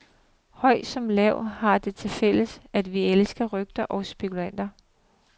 Høj som lav, har det til fælles, at vi elsker rygter og spekulationer.